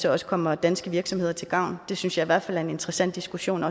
også kommer danske virksomheder til gavn det synes jeg i hvert fald er en interessant diskussion